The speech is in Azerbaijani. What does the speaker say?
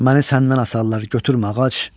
Məni səndən asarlar, götürmə ağac.